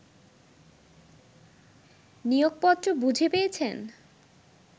নিয়োগপত্র বুঝে পেয়েছেন